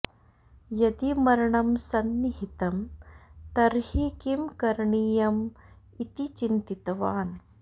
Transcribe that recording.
यदि मरणं सन्निहितं तर्हि किं करणीयम् इति चिन्तितवान्